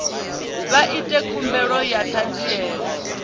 vha ite khumbelo ya ṱhanziela